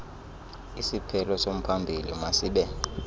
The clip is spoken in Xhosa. isiphelo somphambili masibe